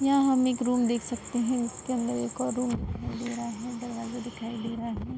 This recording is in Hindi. यहाँ हम एक रूम देख सकते हैं। इसके अन्दर एक और रूम दिखाई दे रहा है। दरवाजा दिखाई दे रहा है।